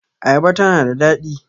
Ayaba ta na da daɗi